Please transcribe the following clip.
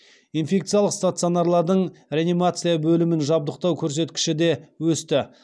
инфекциялық стационарлардың реанимация бөлімін жабдықтау көрсеткіші де өсті